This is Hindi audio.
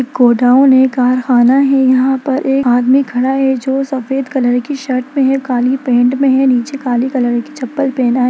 गोडाउन है कारखाना है यहाँ पर एक आदमी खड़ा है जो सफेद कलर की शर्ट में है काली पेन्ट में है नीचे काले कलर की चप्पल पेहना है।